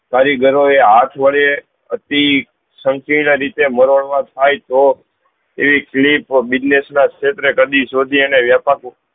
કારીગરો ને હાથ વડે અતિ થાય તો એવી કલીપ business ક્ષેત્રે કદી શોધ્યા ને વ્યપાર